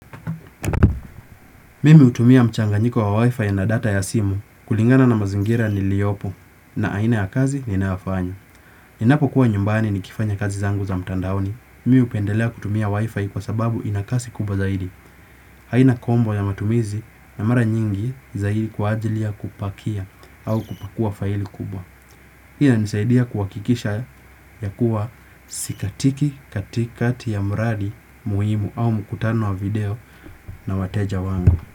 Mimi utumia mchanganyiko wa wifi na data ya simu kulingana na mazingira niliyopo na aina ya kazi ninayofanya. Ninapokuwa nyumbani nikifanya kazi zangu za mtandaoni. Mimi upendelea kutumia wifi kwa sababu ina kasi kubwa zaidi. Haina kombo ya matumizi na mara nyingi zaidi kwa ajili ya kupakia au kupakua faili kubwa. Hina nisaidia kuhakikisha ya kuwa sikatiki katikati ya mradi muhimu au mkutano wa video na wateja wangu.